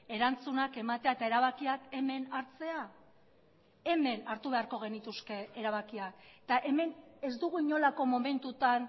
erantzunak ematea eta erabakiak hemen hartzea hemen hartu beharko genituzke erabakiak eta hemen ez dugu inolako momentutan